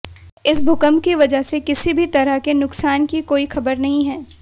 इस भूकंप की वजह से किसी भी तरह के नुकसान की कोई खबर नहीं है